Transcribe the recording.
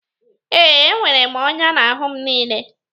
e, enwere m ọnya n'ahụ m niile